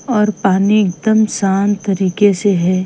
और पानी एकदम शांत तरीके से है।